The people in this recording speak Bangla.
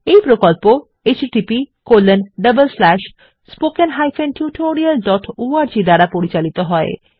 এই প্রকল্প httpspoken tutorialorg দ্বারা পরিচালিত হয়